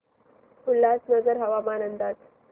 उल्हासनगर हवामान अंदाज